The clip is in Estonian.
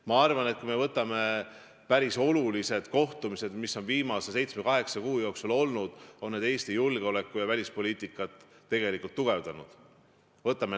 Ma arvan, et need päris olulised kohtumised, mis on viimase seitsme-kaheksa kuu jooksul olnud, on Eesti julgeolekut ja välispoliitikat tugevdanud.